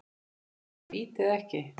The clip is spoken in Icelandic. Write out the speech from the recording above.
Var þetta víti eða ekki?